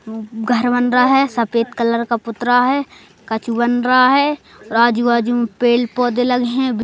घर बन रहा है सफेद कलर का पुतरा है कछु बन रहा है आजू-बाजू में पेड़ पौधे लगे हैं।